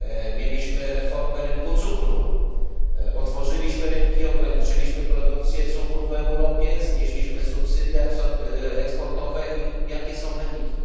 Mieliśmy reformę rynku cukru, otworzyliśmy rynki, ograniczyliśmy produkcję cukru w Europie, znieśliśmy subsydia eksportowe i jakie są wyniki?